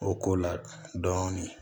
O ko la dɔɔnin